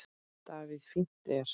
Davíð Fínt er.